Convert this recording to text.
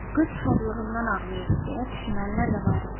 Qız şadlığından ağlayır, deyə düşünənlər də var idi.